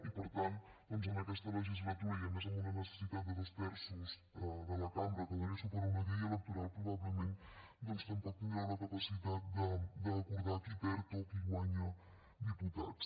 i per tant doncs en aquesta legislatura i a més amb una necessitat de dos terços de la cambra que doni suport a una llei electoral probablement doncs tampoc tindreu la capacitat d’acordar qui perd o qui guanya diputats